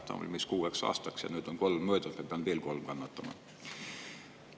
Ta on umbes kuueks aastaks ja nüüd on kolm möödunud, ma pean veel kolm aastat kannatama.